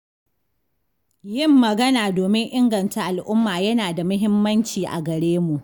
Yin magana domin inganta al'umma yana da muhimmanci a garemu